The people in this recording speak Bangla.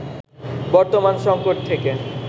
বর্তমান সংকট থেকে